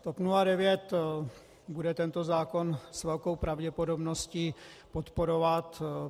TOP 09 bude tento zákon s velkou pravděpodobností podporovat.